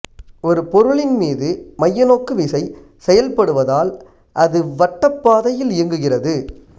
ஒரு பொருளின் மீது மையநோக்கு விசை செயல்படுவதால் அது வட்டப்பாதையில் இயங்குகிறது